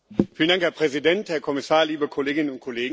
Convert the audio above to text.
Herr Präsident, Herr Kommissar, liebe Kolleginnen und Kollegen!